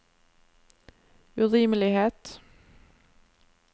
urimelighet